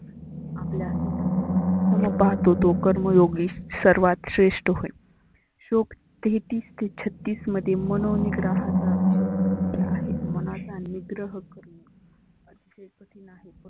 आपल्या स्वतः प्रमाने सम पाहतो तो कर्मयोगी सर्वात श्रेष्ठ होय. श्लोक तेहतीस ते छत्तीस मध्ये मनो निग्रहाचा विषय मांडलेला आहे. मनाचा निद्रह करनं नाही.